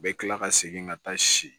U bɛ kila ka segin ka taa si